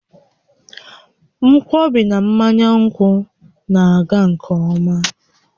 Nkwọbi na mmanya nkwụ na-aga nke ọma